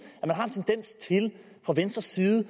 at man fra venstre side